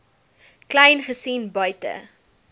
kleyn gesien buite